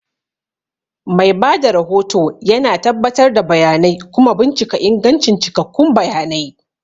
Mai ba da rahoto yana tabbatar da bayanai kuma bincika ingancin cikakkun bayanai.